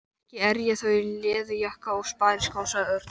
Ekki er ég þó í leðurjakka og spariskóm sagði Örn.